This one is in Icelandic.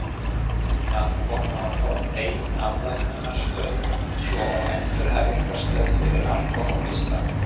Að koma á fót eigin afvötnunarstöð, svo og endurhæfingarstöð fyrir alkóhólista.